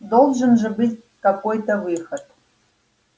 должен же быть какой-то выход